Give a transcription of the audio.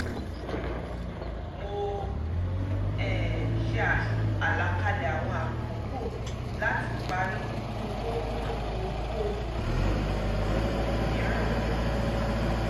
um mo um ṣe àlàkalẹ̀ àwọn àkókò láti parí kí n tó mú ohunkóhun mìíràn mọ́ ọn